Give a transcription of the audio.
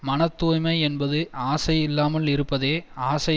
மன தூய்மை என்பது ஆசை இல்லாமல் இருப்பதே ஆசை